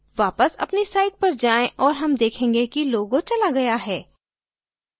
वापस अपनी site पर जाएँ और हम देखेंगे कि logo चला गया है